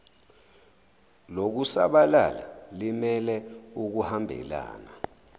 lokusabalala limele ukuhambelana